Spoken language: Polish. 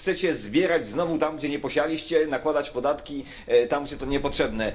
Chcecie zbierać znowu tam, gdzie nie posialiście, nakładać podatki tam, gdzie to niepotrzebne.